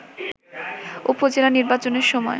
উপজেলা নির্বাচনের সময়